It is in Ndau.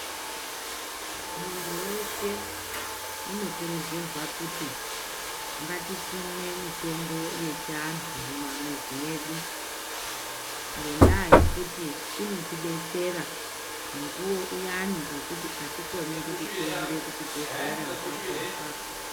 Muntu weshe unokurudzirwa kuti ngatisime mitombo yechiantu mumamizi medu ngenda yekuti inoti detsera mukuwo uyani wekuti atikoni tirumbe kuchibhedhlera apapo apapo.